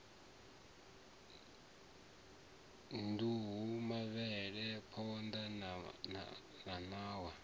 nduhu mavhele phonḓa na ṋawa